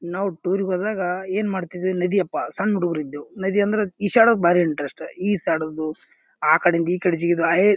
ನಾವ್ ಟೂರ್ ಗ ಹೋದಾಗ ಏನ್ ಮಾಡ್ತಿದ್ವಿ ನದಿ ಅಪ್ಪಾ ಸಣ್ಣ ಹುಡುಗರು ಇದ್ವು ನದಿ ಅಂದ್ರ ಈಜಾಡೋಕ್ ಭಾರಿ ಇಂಟ್ರೆಸ್ಟ್ . ಈಜಾಡೋದು ಆ ಕಡೆಯಿಂದ ಈಕಡೆಗ ಜಿಗಿದು. ಆಹೆ--